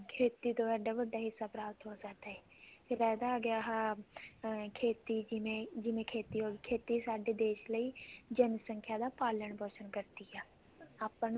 ਖੇਤੀ ਤੋਂ ਇੱਦਾਂ ਵੱਡਾ ਹਿੱਸਾ ਪ੍ਰਾਪਤ ਹੋ ਸਕਦਾ ਹੈ ਫ਼ੇਰ ਇਹਦਾ ਆਗਿਆ ਆਹ ਖੇਤੀ ਜਿਵੇਂ ਖੇਤੀ ਹੋਗੀ ਖੇਤੀ ਸਾਡੇ ਦੇਸ਼ ਲਈ ਜਨਸੰਖਿਆ ਦਾ ਪਾਲਣ ਪੋਸ਼ਣ ਕਰਦੀ ਹੈ ਆਪਾਂ ਨੂੰ